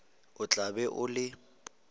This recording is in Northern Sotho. o tla be o le